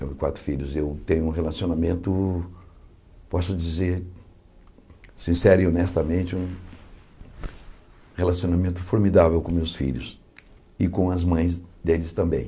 Então, quatro filhos, eu tenho um relacionamento, posso dizer, sincero e honestamente, um relacionamento formidável com meus filhos e com as mães deles também.